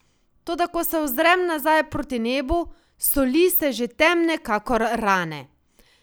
Toda ko se ozrem nazaj proti nebu, so lise že temne kakor rane.